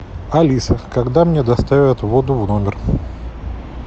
алиса когда мне доставят воду в номер